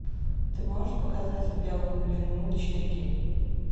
ты можешь показать в белом плену четыре кей